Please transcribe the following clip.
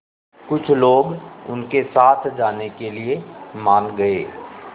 कुछ लोग उनके साथ जाने के लिए मान गए